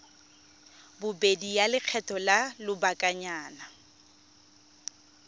bobedi ya lekgetho la lobakanyana